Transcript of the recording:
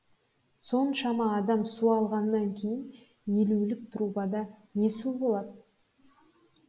соншама адам су алғаннан кейін елулік трубада не су болады